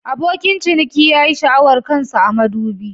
Abokin ciniki ya yi sha'awar kan sa a madubi.